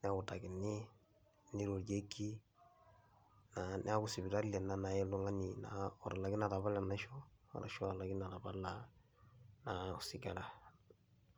newutakini, nirorieki naa, neeku sipitali ena nayai oltung'ani otalaikine atapala enaisho arashu olatalaikine atapala naa osigara.